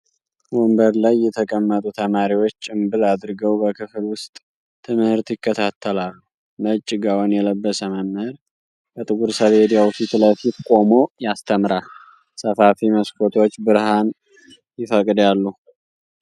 ወንበር ላይ የተቀመጡ ተማሪዎች ጭምብል አድርገው በክፍል ውስጥ ትምህርት ይከታተላሉ። ነጭ ጋውን የለበሰ መምህር ከጥቁር ሰሌዳው ፊት ለፊት ቆሞ ያስተምራል፤ ሰፋፊ መስኮቶች ብርሃን ይፈቅዳሉ።